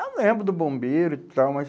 Eu lembro do bombeiro e tal, mas...